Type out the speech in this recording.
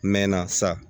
N mɛɛnna sa